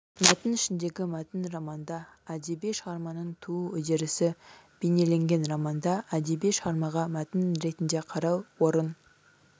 мәтін ішіндегі мәтін романда әдеби шығарманың туу үдерісі бейнеленген романда әдеби шығармаға мәтін ретінде қарау орын